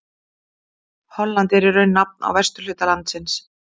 Holland er í raun nafn á vesturhluta landsins.